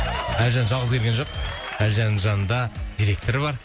әлжан жалғыз келген жоқ әлжанның жанында директоры бар